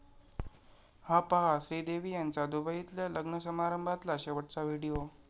हा पहा श्रीदेवी यांचा दुबईतल्या लग्न समारंभातला शेवटचा व्हिडिओ